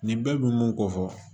Nin bɛɛ bi mun ko fɔ